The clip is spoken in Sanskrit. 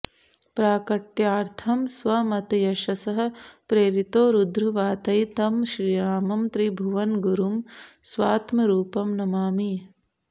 प्राकट्यार्थं स्वमतयशसः प्रेरितोरुद्रव्रातैः तं श्रीरामं त्रिभुवनगुरुं स्वात्मरूपं नमामि